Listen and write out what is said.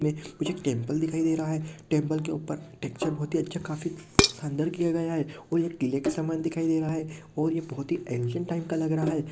पीछे एक टैंपल दिखाई दे रहा है टैंपल के ऊपर टेक्सचर बहोत ही अच्छा काफी शानदार किया गया है और यह किले के समान दिखाई दे रहा है और ये बहुत ही एन्सिएंट टाइप का लग रहा है।